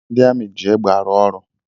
Ndị amị ji egbe arụ ọrụ